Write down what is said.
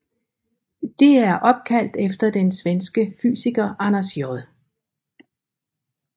Det er opkaldt efter den svenske fysiker Anders J